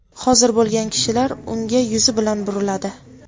hozir bo‘lgan kishilar unga yuzi bilan buriladi.